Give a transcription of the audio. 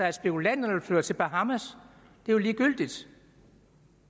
at spekulanterne flytter til bahamas er jo ligegyldigt